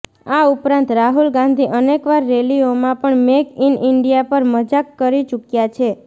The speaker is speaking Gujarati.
આ ઉપરાંત રાહુલ ગાંધી અનેકવાર રેલીઓમાં પણ મેક ઇન ઈન્ડિયા પર મજાક કરી ચૂક્યા છે